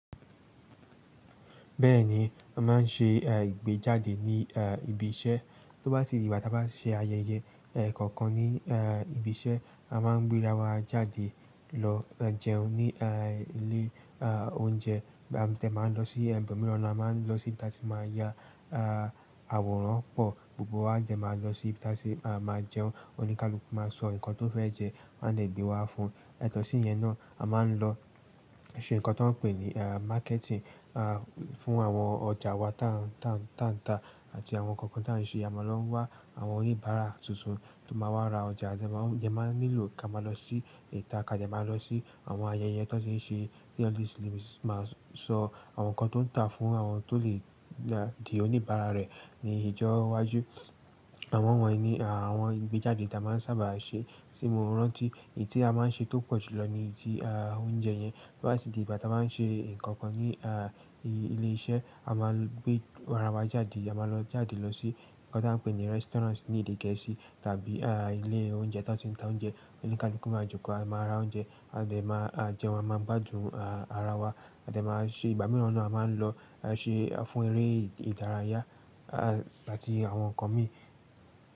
Bẹ́ẹ̀ni, a máa ń ṣe, eh, ìgbéjáde ní, eh, ibi iṣẹ́. Tó bá sí di ìgbà tí a bá ṣe ayẹyẹ, eh, kòkan ní, eh, ibi iṣẹ́, a máa gbé ara wa jáde lọ jẹun ní, eh, ilé, ah, oúnjẹ. A dè máa ń lo si odò míràn náà, a máa ń lo sí ibi tí a ti máà ya àwòrán pò. Gbogbo wa dẹ máa lọ sí ibi tí a tì máa jẹun. Oníkálukú máa sọ nǹkan tó fẹ́ jẹ, wọ́n á dè gbé wá fún un. Yàtò sí ìyen náà, a máa ń lo se nńkan tí wón ń pè ní marketing fún àwon ojà wa ta ń tà, àti àwon kókàn ta ń se. A máa lọ wá àwọn oníbàárà tuntun tó máa wá ra ọjà. A dè máa ń nílò ká máa lọ sí ìta. Ká dẹ́ máa lọ sí àwọn ayẹyẹ tó ti ń ṣe ní ọdún yìí sì lè máa sọ àwọn nǹkan tó ń tà fún àwọn tó lè di oníbàárà rẹ̀ ní ìjọ́wájú. Àwọn wọ̀nyí ni, ah, àwọn ìgbéjáde tí a máa ń sábà ṣe. Ti mo rántí èyí tí a máa ń ṣe tó pọ̀jù lọ ni tí, ah, oúnjẹ yẹn. Tó bá tì di ìgbà tí a bá ń ṣe nǹkan kan ní, ah, ilé iṣẹ́, a máa gbé ara wa jáde. A máa lọ jáde lọ sí nǹkan tí a ń pè ní restaurants ní èdè gẹ̀ẹ́sì tàbí, ah, ilé oúnjẹ tó ti ń ta oúnjẹ. Oníkálukú máa jòkó, a máa ra oúnjẹ, a lè máa jẹun, a máa gbádùn, ah, ara wa. A dè máa ṣe ìgbà mìíràn náà a máa ń lọ ṣe fún eré ìdárayá àti àwọn nǹkan mìíràn.